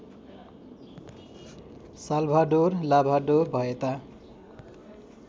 Salvador लाभाडो भएता